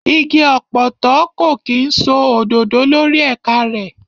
Igi ọ̀pọ̀tọ́ kò kí ń so òdòdó lórí ẹ̀ka rẹ̀.